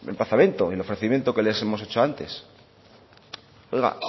emplazamiento el ofrecimiento que les hemos hecho antes oiga